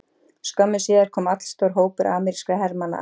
Skömmu síðar kom allstór hópur amerískra hermanna að